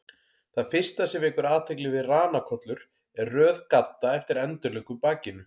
Það fyrsta sem vekur athygli við ranakollur er röð gadda eftir endilöngu bakinu.